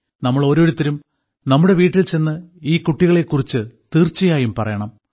നമ്മൾ ഓരോരുത്തരും നമ്മുടെ വീട്ടിൽ ചെന്ന് ഈ കുട്ടികളെക്കുറിച്ച് തീർച്ചയായും പറയണം